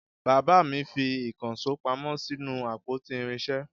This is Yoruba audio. Bàbá mi fi ìkànsó pamọ́ sínú àpótí irinsé